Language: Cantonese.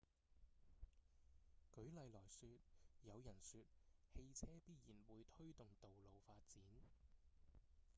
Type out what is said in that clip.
舉例來說有人說汽車必然會推動道路發展